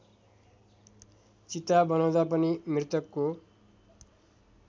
चिता बनाउँदा पनि मृतकको